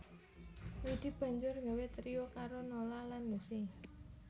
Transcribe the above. Widi banjur nggawé trio karo Nola lan Lusi